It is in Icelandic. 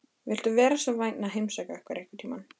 Viltu vera svo vænn að heimsækja okkur einhvern tímann?